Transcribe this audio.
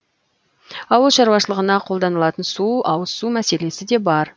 ауыл шаруашылығына қолданылатын су ауызсу мәселесі де бар